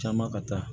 Caman ka taa